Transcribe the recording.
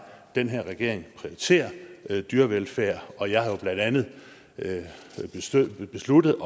den her regering prioriterer dyrevelfærd og jeg har jo blandt andet besluttet